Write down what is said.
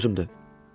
Ciddi sözümdür.